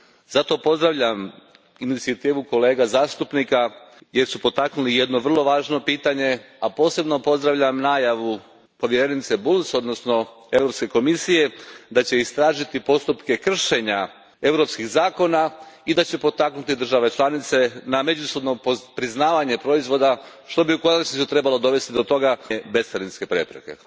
Zato pozdravljam inicijativu kolega zastupnika jer su potaknuli jedno vrlo važno pitanje, a posebno pozdravljam najavu povjerenice Bulc odnosno Europske komisije da će istražiti postupke kršenja europskih zakona i da će potaknuti države članice na međusobno priznavanje proizvoda što bi u konačnici trebalo dovesti do toga da se smanje bescarinske prepreke.